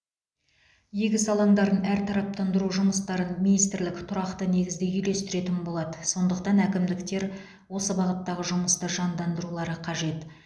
егіс алаңдарын әртараптандыру жұмыстарын министрлік тұрақты негізде үйлестіретін болады сондықтан әкімдіктер осы бағыттағы жұмысты жандандырулары қажет